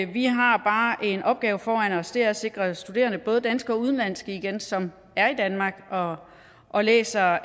vi har bare en opgave foran os og det er at sikre at studerende både danske og udenlandske som er i danmark og og læser